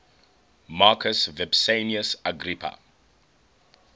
marcus vipsanius agrippa